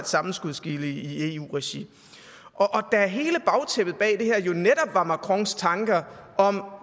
sammenskudsgilde i eu regi da hele bagtæppet bag det her jo netop var macrons tanker om